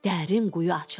Dərin quyu açıldı.